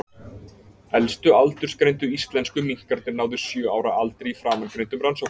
Elstu aldursgreindu íslensku minkarnir náðu sjö ára aldri í framangreindum rannsóknum.